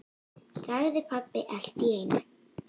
sagði pabbi allt í einu.